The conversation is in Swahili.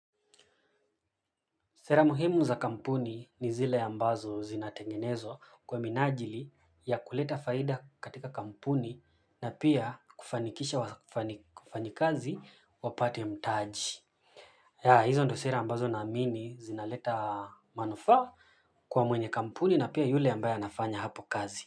Sera muhimu za kampuni ni zile ambazo zinatengenezwa kwa minajili ya kuleta faida katika kampuni na pia kufanikisha wafanyi ikazi wapate mtaji. Hizo ndio sera ambazo na amini zinaleta manufa kwa mwenye kampuni na pia yule ambaye anafanya hapo kazi.